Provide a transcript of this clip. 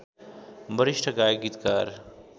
वरिष्ठ गायक गीतकार